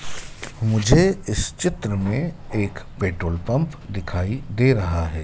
मुझे इस चित्र में एक पेट्रोल पंप दिखाई दे रहा है।